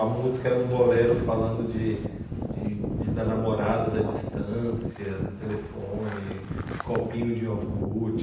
A música era um bolero falando de de de da namorada, da distância, do telefone, de copinho de iogurte.